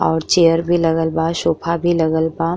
और चेयर भी लगल बा। सोफा भी लगल बा।